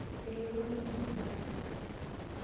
Yaki olmalimui enkare.